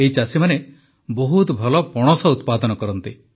ଏହି ଚାଷୀମାନେ ବହୁତ ଭଲ ପଣସ ଉତ୍ପାଦନ କରନ୍ତି